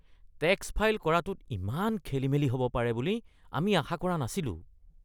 Tax file কৰাটোত ইমান খেলিমেলি হ’ব পাৰে বুলি আমি আশা কৰা নাছিলোঁ।